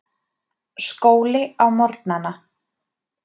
Skóli á morgnana.